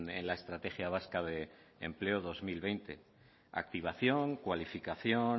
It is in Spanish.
en la estrategia vasca de empleo dos mil veinte activación cualificación